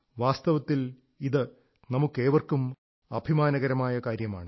വാസ്തവത്തിൽ ഇത് നമുക്കേവർക്കും അഭിമാനകരമായ കാര്യമാണ്